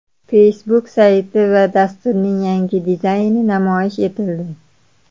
Facebook sayti va dasturining yangi dizayni namoyish etildi.